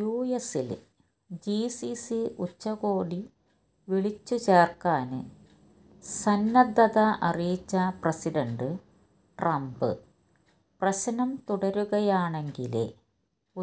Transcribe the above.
യുഎസില് GCC ഉച്ചകോടി വിളിച്ചു ചേര്ക്കാന് സന്നദ്ധത അറിയിച്ച പ്രസിഡന്റ് ട്രംപ് പ്രശ്നം തുടരുകയാണെങ്കില്